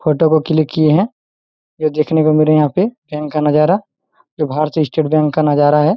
Photo click किए है जो देखने में बैंक का नजारा है जो की बाहर से स्टेट बैंक का नजारा है ।